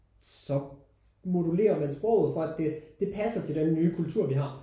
Så modulerer man sproget for at det det passer til den nye kultur vi har